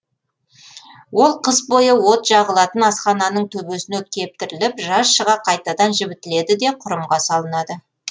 ол қыс бойы от жағылатын асхананың төбесіне кептіріліп жаз шыға қайтадан жібітіледі де кұрымға салынады